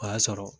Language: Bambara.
O y'a sɔrɔ